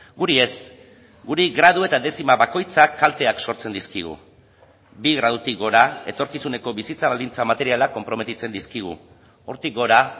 guri ez guri gradu eta dezima bakoitzak kalteak sortzen dizkigu bi gradutik gora etorkizuneko bizitza baldintza materiala konprometitzen dizkigu hortik gora